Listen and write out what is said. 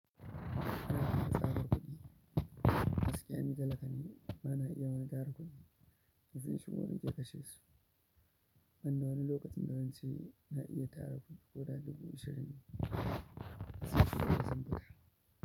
Ana iya tsara kuɗi gaskiya ni talaka ne ba na iya wani tara kuɗi. Kafin shigowa na ke kashe su. Ban da wani lokacin da zance na iya tara kuɗi koda ɗubu ashirin sai sun yi zan buga.